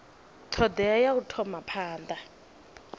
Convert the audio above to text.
thodea ya u thoma phanda